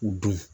U dun